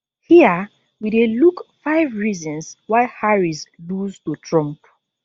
hia we dey look five reasons why harris lose to trump